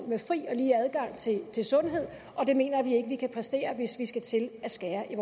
med fri og lige adgang til sundhed og det mener vi ikke vi kan præstere hvis vi skal til at skære i